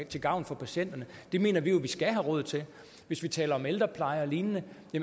til gavn for patienterne det mener vi jo at vi skal have råd til hvis vi taler om ældrepleje og lignende